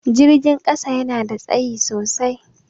Jirgin ƙasa yana da tsayi sosai.